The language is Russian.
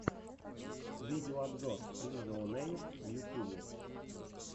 видеообзор лизаонэйр в ютьюбе